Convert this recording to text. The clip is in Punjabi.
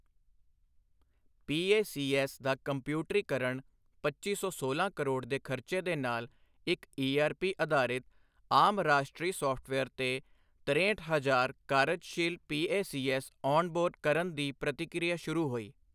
ਪੀਏਸੀਐੱਸ ਦਾ ਕੰਪਿਊਟਰੀਕਰਣ ਪੱਚੀ ਸੌ ਸੋਲਾਂ ਕਰੋੜ ਦੇ ਖਰਚੇ ਦੇ ਨਾਲ ਇੱਕ ਈਆਰਪੀ ਅਧਾਰਿਤ ਆਮ ਰਾਸ਼ਟਰੀ ਸੌਫਟਵੇਅਰ ਤੇ ਤਰੇਹਠ ਹਜ਼ਾਰ ਕਾਰਜਸ਼ੀਲ ਪੀਏਸੀਐੱਸ ਔਣਬੋਰਡ ਕਰਨ ਦੀ ਪ੍ਰਕਿਰਿਆ ਸ਼ੁਰੂ ਹੋਈ।